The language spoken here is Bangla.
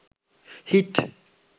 হিট